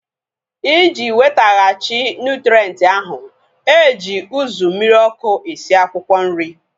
Iji wetaghachi nụtrenti ahu, eji uzu mmiri ọkụ esi akwụkwọ nri